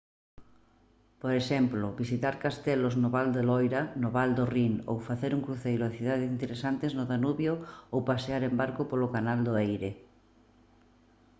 por exemplo visitar castelos no val do loira no val do rhin ou facer un cruceiro a cidades interesantes no danubio ou pasear en barco polo canal do erie